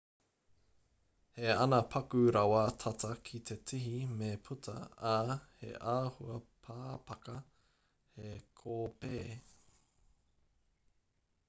he ana paku rawa tata ki te tihi me puta ā he āhua pāpaka he kōpē